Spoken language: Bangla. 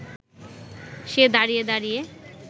সে দাঁড়িয়ে দাঁড়িয়ে